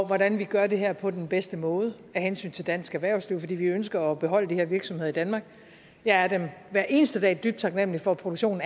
hvordan vi gør det her på den bedste måde af hensyn til dansk erhvervsliv for vi ønsker at beholde de her virksomheder i danmark jeg er dem hver eneste dag dybt taknemmelig for at produktionen